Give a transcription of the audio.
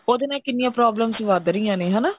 ਉਹਦੇ ਨਾਲ ਕਿੰਨੀਆ problems ਵੱਧ ਰਹੀਆਂ ਨੇ ਹਨਾ